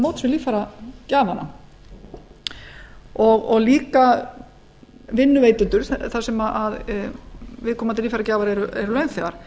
koma til móts við líffæragjafana og líka vinnuveitendur þar sem viðkomandi líffæragjafar eru launþegar